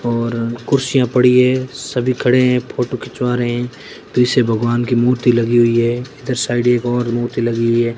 और कुर्सियां पड़ी है सभी खड़े हैं फोटो खिंचवा रहे पीछे भगवान की मूर्ति लगी हुई है इधर साइड एक और मूर्ति लगी हुई है।